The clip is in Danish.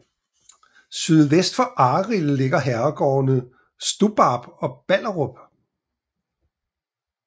Sydvest for Arild ligger herregårdene Stubbarp og Balderup